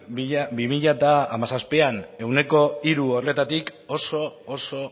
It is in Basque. bi mila hamazazpian ehuneko hiru horretatik oso oso